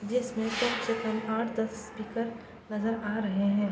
जिसमें कम से कम आठ-दस स्पीकर नजर आ रहे हैं।